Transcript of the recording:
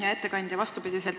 Hea ettekandja!